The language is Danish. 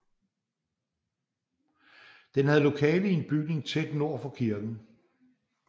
Den havde lokale i en bygning tæt nord for kirken